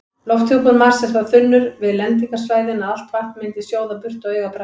Lofthjúpur Mars er það þunnur við lendingarsvæðin að allt vatn myndi sjóða burt á augabragði.